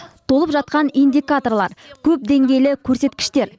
толып жатқан индикаторлар көпдеңгейлі көрсеткіштер